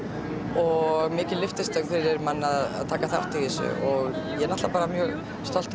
og mikil lyftistöng fyrir mann að taka þátt í þessu ég er náttúrulega mjög stoltur